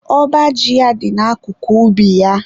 Ọba ji ya dị na akụkụ ubi ya.